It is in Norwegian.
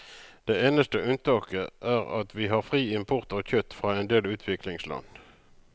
Det eneste unntaket er at vi har fri import av kjøtt fra en del utviklingsland.